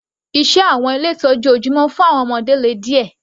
Iṣẹ́ àwọn ilé ìtọ́jú ojúmọ́ fún àwọn ọmọdé le díẹ̀.